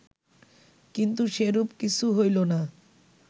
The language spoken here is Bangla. কিন্তু সেরূপ কিছু হইল না